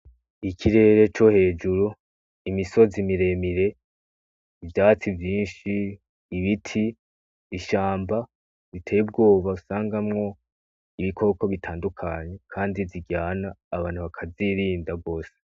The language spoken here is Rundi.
ikirere cohejuru, imisozi miremire, ivyatsi vyinshi ,ibiti ishamba riteye ubwoba usangamwo Ibikoko bitandukanye Kandi biryana ,abantu bakavyirinda cane gose.